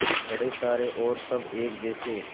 बड़े सारे और सब एक जैसे